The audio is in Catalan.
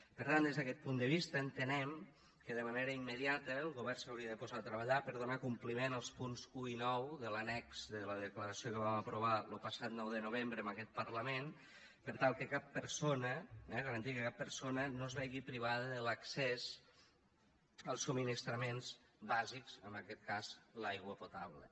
per tant des d’aquest punt de vista entenem que de manera immediata el govern s’hauria de posar a treballar per donar compliment als punts un i nou de l’annex de la declaració que vam aprovar lo passat nou de novembre en aquest parlament per tal que cap persona eh garantir que cap persona no es vegi privada de l’accés als subministraments bàsics en aquest cas l’aigua potable